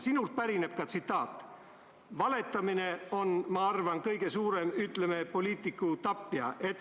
Sinult pärineb ka tsitaat: "Valetamine on, ma arvan, kõige suurem, ütleme, poliitiku tapja.